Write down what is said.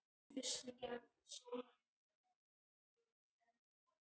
Ermenrekur, læstu útidyrunum.